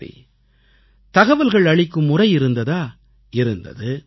சரி தகவல்கள் அளிக்கும் முறை இருந்ததா இருந்தது